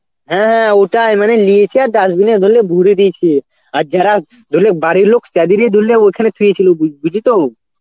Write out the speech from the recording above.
হ্যাঁ ওটাই, মানে লিয়েছে আর dustbin এ ওগুলো ভরে দিয়েছে. আর যারা দেখলে বাড়ির লোক তাদেরই দিল্লে ওখানে থুয়ে ছিল বু~ বুঝলি তো